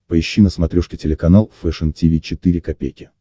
поищи на смотрешке телеканал фэшн ти ви четыре ка